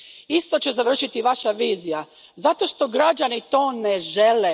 Isto će završiti i Vaša vizija zato što građani to ne žele.